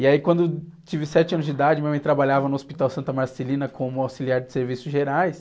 E aí, quando eu tive sete anos de idade, minha mãe trabalhava no Hospital Santa Marcelina como auxiliar de serviços gerais.